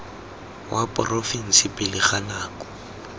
wa porofense pele ga nako